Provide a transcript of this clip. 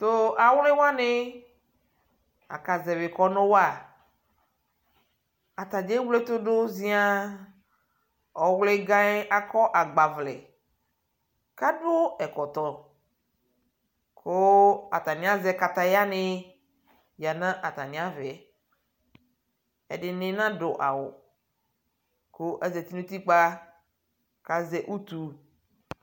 Tuu awlɛwani akaʒɛvi kɔnu wa ataɖʒa ewle ɛtudu ʒiaa Ɔwligayɛ akɔɔ agba vlɛ kadu ɛkɔtɔ kuu atani aʒɛ katayani nu atamiavɛ ɛdini naduu awu kuu aƶati nutikpa kaʒɛ utuu